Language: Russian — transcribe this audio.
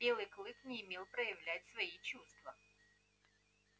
белый клык не умел проявлять свои чувства